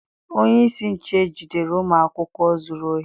Onyeisi nche ejidere ụmụ akwụkwọ zuru ohi?